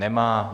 Nemá.